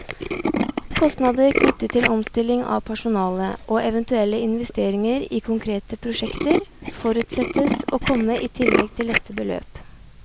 Kostnader knyttet til omstilling av personale, og eventuelle investeringer i konkrete prosjekter, forutsettes å komme i tillegg til dette beløp.